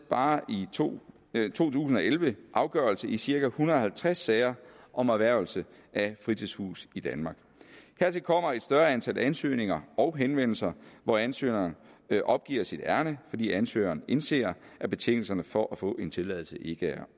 bare i to tusind og elleve afgørelse i cirka en hundrede og halvtreds sager om erhvervelse af fritidshuse i danmark hertil kommer et større antal ansøgninger og henvendelser hvor ansøgeren opgiver sit ærinde fordi ansøgeren indser at betingelserne for at få en tilladelse ikke